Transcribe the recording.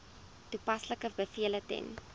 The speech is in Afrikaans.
toepaslike bevele ten